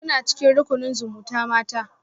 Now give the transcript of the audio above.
Kuna cikin rukunin zumutamata?